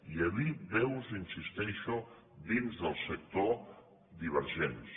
i hi havia veus hi insisteixo dins del sector divergents